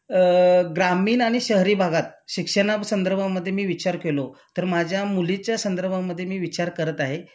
अ ग्रामीण आणि शहरी भागात शिक्षणा संदर्भामध्ये मी विचार केलो तर माझ्या मुलीच्या संदर्भामध्ये मी विचार करत आहे